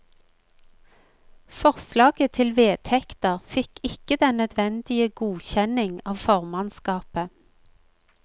Forslaget til vedtekter fikk ikke den nødvendige godkjenning av formannskapet.